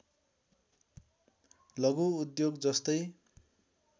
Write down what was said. लघु उद्योग जस्तै